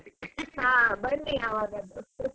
ಹಾ ಬನ್ನಿ ಯಾವಾಗಸ.